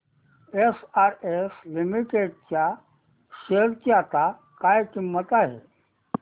SRS limited च्या share ची आता काय किंमत आहे